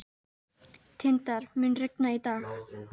Tindar, mun rigna í dag?